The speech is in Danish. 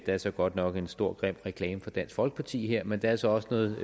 der er så godt nok en stor grim reklame fra dansk folkeparti her men der er så også noget